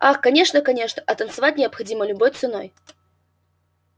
ах конечно конечно а танцевать необходимо любой ценой